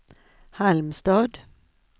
Halmstad